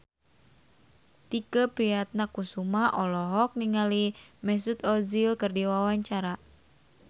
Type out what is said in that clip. Tike Priatnakusuma olohok ningali Mesut Ozil keur diwawancara